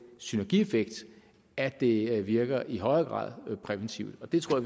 synergieffekt at det virker i højere grad præventivt og det tror